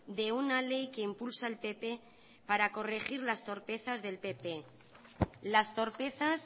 de una ley que impulsa el pp para corregir las torpezas del pp las torpezas